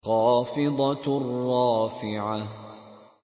خَافِضَةٌ رَّافِعَةٌ